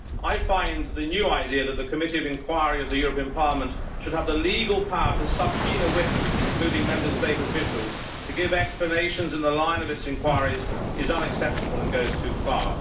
I find that the new idea that a committee of inquiry of the European Parliament should have the legal power to subpoena witnesses, including Member State officials, to give explanations in the line of its inquiries, is unacceptable and goes too far.